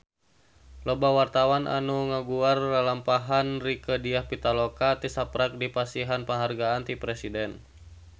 Loba wartawan anu ngaguar lalampahan Rieke Diah Pitaloka tisaprak dipasihan panghargaan ti Presiden